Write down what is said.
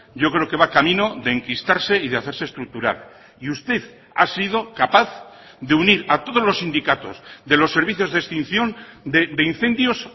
yo creo que va camino de enquistarse y de hacerse estructural y usted ha sido capaz de unir a todos los sindicatos de los servicios de extinción de incendios